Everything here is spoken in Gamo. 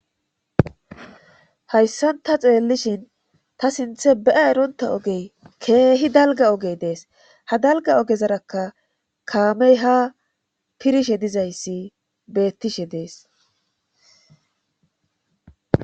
Hayssan ta xeellishin ta sinthe beya eronta ogey keehi dalga ogey dees ha dalga ogezaraka kaamey ha pirishe dizayssi bettishe dees.